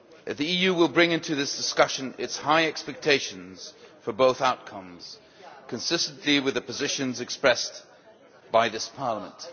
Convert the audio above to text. The EU will bring into this discussion its high expectations for both outcomes, consistent with the positions expressed by this Parliament.